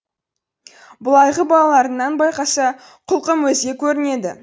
былайғы балаларыңнан байқаса құлқым өзге көрінеді